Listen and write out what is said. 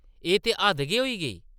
एह् ते हद्द गै होई गेई ।